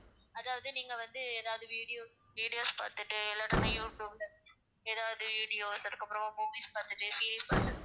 அதாவது நீங்க வந்து எதாவது video videos பார்த்துட்டு இல்லாட்டினா யூடியூப்ல எதாவது videos அதுக்கப்புறம் movies பார்த்துட்டு serials பார்த்து~